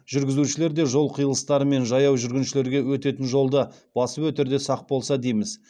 жүргізушілер де жол қиылыстары мен жаяу жүргіншілерге өтетін жолды басып өтерде сақ болса дейміз